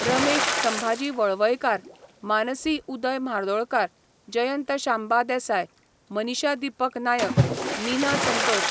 Ramesh Sambhaji Walvaikar ,Mansi Uday Mhardolkar, Jayant Shamba Desai, Manisha Deepak Naik ,Meena Santosh